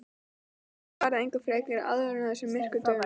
Konan svaraði engu frekar en áður á þessum myrku dögum.